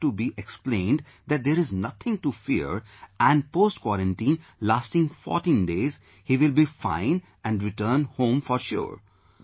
They have to be explained that there is nothing to fear and post quarantine lasting 14 days he will be fine and return home for sure